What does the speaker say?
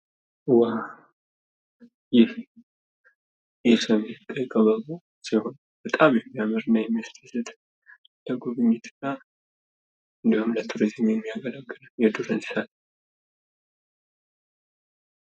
ይሄ የሰሜን ቀይ ቀበሮ ሲሆን በጣም የሚያምር እና የሚያስደስት ለጉብኝትና እንዲሁም ለቱሪዝም የሚያገለግል የዱር እንስሳ።